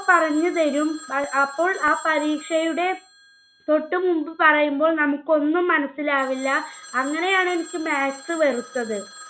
പറഞ്ഞുതരും. അപ്പോൾ ആ പരീക്ഷയുടെ തൊട്ടുമുൻപ് പറയുമ്പോൾ നമുക്ക് ഒന്നും മനസ്സിലാവില്ല. അങ്ങനെയാണ് എനിക്ക് maths വെറുത്തത്.